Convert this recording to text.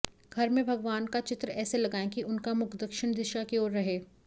घर में भगवान का चित्र ऐसे लगाएं कि उनका मुख दक्षिण दिशा की ओर रहे